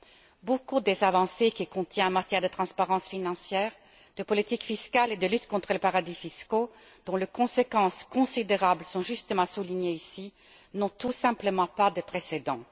Nombre d'avancées qu'il contient en matière de transparence financière, de politique fiscale et de lutte contre les paradis fiscaux, dont les conséquences considérables sont justement soulignées ici, n'ont tout simplement pas de précédent.